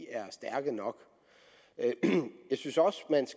er stærke nok jeg synes også